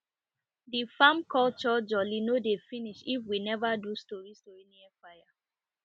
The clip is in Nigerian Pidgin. de farm culture jolly no dey finish if we never do stori stori near fire